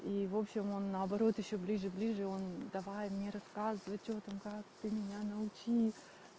и в общем он наоборот ещё ближе ближе он давай мне рассказывать что там как ты меня научи